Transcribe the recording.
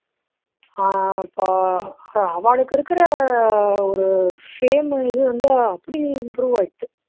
ஆஹ் இப்போ அவாளுக்கு இருக்குற ஒரு fame இது வந்து அப்படி improve ஆயிடுத்து